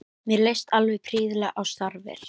Mér leist alveg prýðilega á starfið.